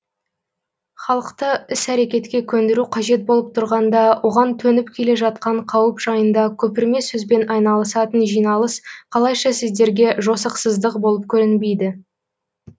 халықты іс әрекетке көндіру қажет болып тұрғанда оған төніп келе жатқан қауіп жайында көпірме сөзбен айналысатын жиналыс қалайша сіздерге жосықсыздық болып көрінбейді